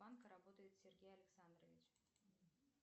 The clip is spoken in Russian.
банка работает сергей лександрович